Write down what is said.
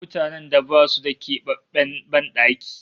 Mutanen da basu da kebabben ban daki